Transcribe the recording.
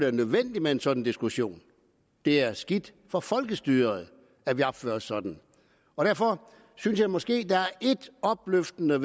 er nødvendigt med en sådan diskussion det er skidt for folkestyret at vi opfører os sådan derfor synes jeg måske der er én opløftende